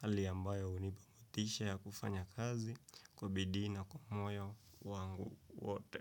Hali ambayo hunipa motisha ya kufanya kazi kubidii na kwa moyo wangu wote.